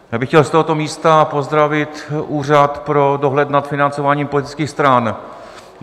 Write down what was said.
Já bych chtěl z tohoto místa pozdravit Úřad pro dohled nad financováním politických stran.